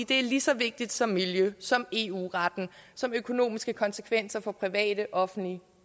det er lige så vigtigt som miljøet som eu retten som de økonomiske konsekvenser for private offentlige